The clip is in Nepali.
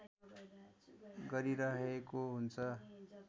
गरिरहेको हुन्छ